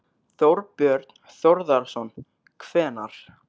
Þorbjörn Þórðarson: Hvenær?